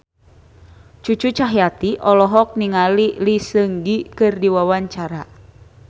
Cucu Cahyati olohok ningali Lee Seung Gi keur diwawancara